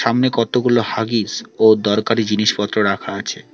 সামনে কতগুলো হাগিস ও দরকারি জিনিসপত্র রাখা আছে।